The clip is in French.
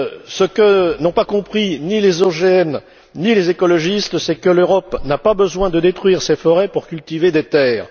ce que n'ont pas compris ni les ONG ni les écologistes, c'est que l'Europe n'a pas besoin de détruire ses forêts pour cultiver des terres.